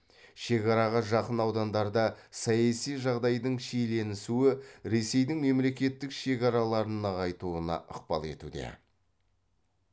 шекараға жақын аудандарда саяси жағдайдың шиеленісуі ресейдің мемлекеттік шекараларын нығайтуына ықпал етуде